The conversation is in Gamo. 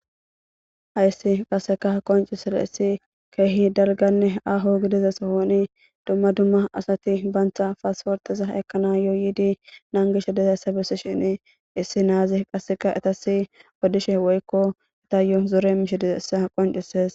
hayssi qasseka qoncisizysi issi keehi darganne aho gidiza sohoni dumma dumma asati bantha paasforxiza ekana yoyidi naangishe dizaysa bussi shini issi naazi qasseka itasi odishe woykko ita yo zore mishidizaessa qoncises